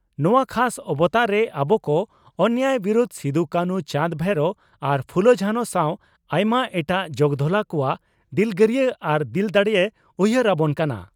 ᱱᱚᱣᱟ ᱠᱷᱟᱥ ᱚᱵᱚᱛᱟᱨᱮ ᱟᱵᱚ ᱠᱚ ᱚᱱᱮᱭᱟᱭ ᱵᱤᱨᱩᱫᱽ ᱥᱤᱫᱚᱼᱠᱟᱹᱱᱦᱩ, ᱪᱟᱸᱫᱽᱼᱵᱷᱟᱭᱨᱚ ᱟᱨ ᱯᱷᱩᱞᱚ ᱡᱷᱟᱱᱚ ᱥᱟᱶ ᱟᱭᱢᱟ ᱮᱴᱟᱜ ᱡᱚᱜᱽᱫᱷᱚᱞᱟ ᱠᱚᱣᱟᱜ ᱫᱤᱞᱜᱟᱹᱨᱤᱭᱟᱹ ᱟᱨ ᱫᱤᱞ ᱫᱟᱲᱮᱭ ᱩᱭᱦᱟᱨ ᱟᱵᱚᱱ ᱠᱟᱱᱟ ᱾